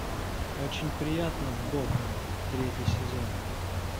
очень приятно бог третий сезон